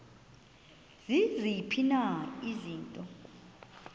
ziziphi na izinto